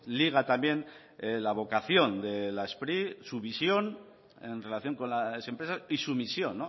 liga también la vocación de la spri su visión en relación con las empresas y su misión